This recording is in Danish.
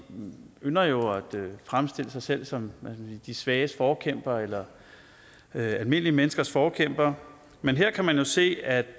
ynder jo at fremstille sig selv som de svages forkæmpere eller almindelige menneskers forkæmpere men her kan man jo se at